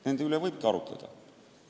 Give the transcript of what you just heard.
Nende üle võib arutleda.